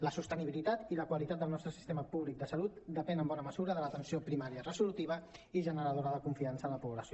la sostenibilitat i la qualitat del nostre sistema públic de salut depèn en bona mesura de l’atenció primària resolutiva i generadora de confiança en la població